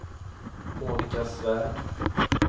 Monica Svärd